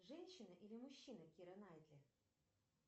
женщина или мужчина кира найтли